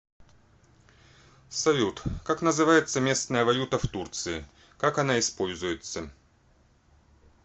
салют как называется местная валюта в турции как она используется